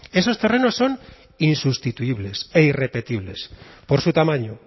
esos terrenos son insustituibles e irrepetibles por su tamaño